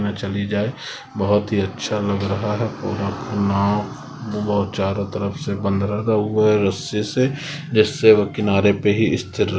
मैं चली जाए बहुत ही अच्छा लग रहा हैं पूरा नाम बहुत चारों तरफ से बंद रखा हुआ हैंरस्सी से जिस से वो किनारे पे स्थिर --